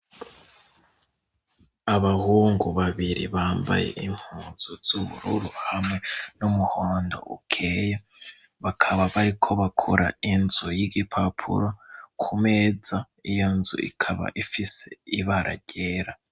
Abahungu babiri bambaye impunzu z'ubururu hamwe n'umuhondo ukeye, bakaba bariko bakora inzu y'igipapuro kumeza, iyo nzu ikaba ifise ibara ryera.